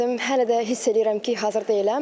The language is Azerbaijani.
Hələ də hiss eləyirəm ki, hazır deyiləm.